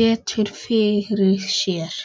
betur fyrir sér.